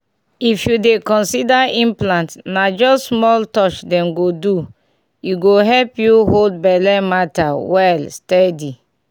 if you dey consider implant na just small touch dem go do — e go help you hold belle matter well steady.